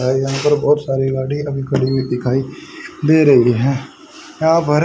भाई यहाँ पर बहोत सारी गाड़ी अभी खड़ी हुई दिखाई दे रहीं हैं यहाँ पर--